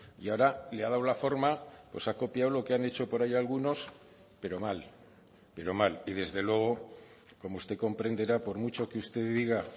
y ahora le ha dado la forma pues ha copiado lo que han hecho por ahí algunos pero mal pero mal y desde luego como usted comprenderá por mucho que usted diga